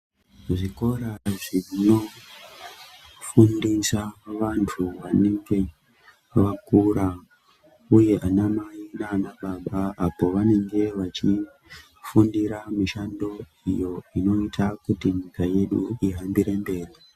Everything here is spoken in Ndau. Zvikora zvinofundisa vantu vanenge vakura uye vana mai naana baba apo vanenge vachifundira mishando iyo inoita kuti nyika yedu ihambire mberi.